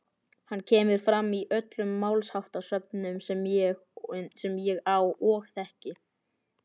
Hann kemur fram í öllum málsháttasöfnum sem ég á og þekki.